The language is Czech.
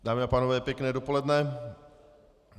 Dámy a pánové, pěkné dopoledne.